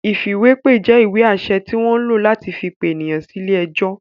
Ìfìwépè jẹ́ ìwé-àṣẹ tí wọ́n ń lò láti fi pe ènìyàn sí ilé-ẹjọ́.